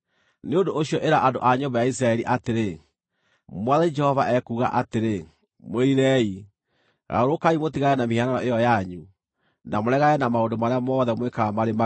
“Nĩ ũndũ ũcio ĩra andũ a nyũmba ya Isiraeli atĩrĩ, ‘Mwathani Jehova ekuuga atĩrĩ: Mwĩrirei! Garũrũkai mũtigane na mĩhianano ĩyo yanyu, na mũregane na maũndũ marĩa mothe mwĩkaga marĩ magigi!